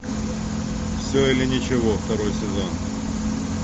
все или ничего второй сезон